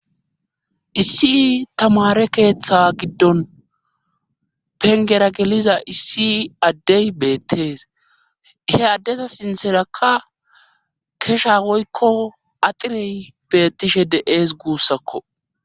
issi tamare keeththa giddon pengera geliza issi addey beettees he addesa sinterakka kesha woykko axirey beettishe deees guussakko